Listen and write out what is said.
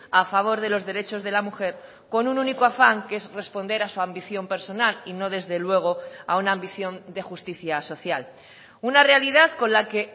a favor de los derechos de la mujer con un único afán que es responder a su ambición personal y no desde luego a una ambición de justicia social una realidad con la que